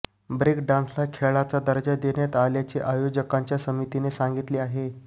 break डान्सला खेळाचा दर्जा देण्यात आल्याचे आयोजकांच्या समितीने सांगितले आहे